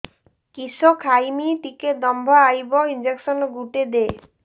କିସ ଖାଇମି ଟିକେ ଦମ୍ଭ ଆଇବ ଇଞ୍ଜେକସନ ଗୁଟେ ଦେ